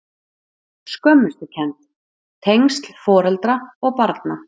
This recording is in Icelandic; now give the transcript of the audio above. Skömmustukennd- tengsl foreldra og barna